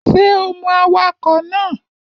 Ṣé o mọ awakọ̀ náà?